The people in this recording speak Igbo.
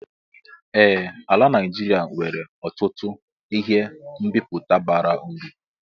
Ee ala Naijiria nwere ọtụtụ ihe mmịpụta bara uru.